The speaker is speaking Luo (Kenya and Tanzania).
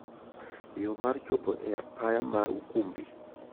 Yoo mar chopo e apaya mar Ukumbi.